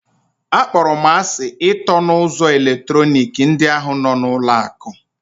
Akpọrọ m asị ịtọ na ụzọ eletrọnịkị ndị ahụ nọ n'ụlọ akụ.